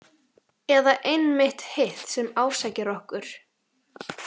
Eða einmitt hitt sem ásækir okkur?